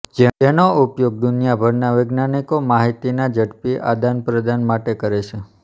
જેનો ઉપયોગ દુનિયાભરના વૈજ્ઞાનિકો માહિતીના ઝડપી આદાન પ્રદાન માટે કરે છે